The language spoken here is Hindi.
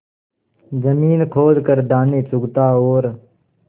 जमीन खोद कर दाने चुगता और